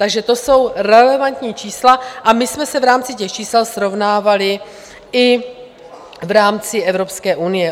Takže to jsou relevantní čísla a my jsme se v rámci těch čísel srovnávali i v rámci Evropské unie.